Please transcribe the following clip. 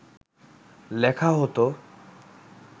লেখা হত